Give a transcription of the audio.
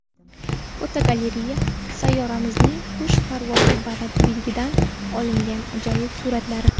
Fotogalereya: Sayyoramizning qush parvozi balandligidan olingan ajoyib suratlari.